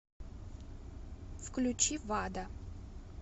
включи вада